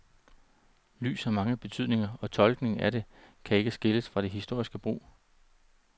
Lys har mange betydninger, og tolkningen af det kan ikke skilles fra dets historiske brug.